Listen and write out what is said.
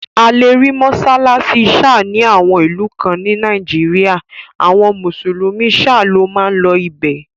A lè rí mọ́sálásí Sha ni àwọn ìlú kan ní Nàìjíríà, àwọn mùsùlùmí shia ló n máa lọ ibẹ̀